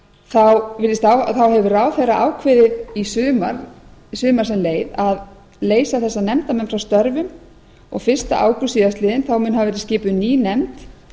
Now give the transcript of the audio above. þá hefur ráðherra ákveðið í sumar sem leið að leysa þessa nefndarmenn frá störfum og fyrsta ágúst síðastliðinn mun hafa verið skipuð ný nefnd